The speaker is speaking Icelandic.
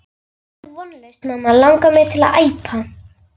Þetta er vonlaust mamma langar mig til að æpa.